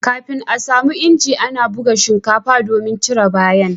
kafin a samu inji ana ana buga shinkafa domin cire bayan